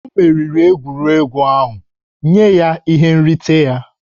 O meriri egwuregwu ahụ, nye ya ihe nrite ya!